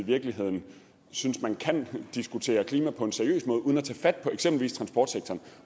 virkeligheden synes man kan diskutere klima på en seriøs måde uden at tage fat på eksempelvis transportsektoren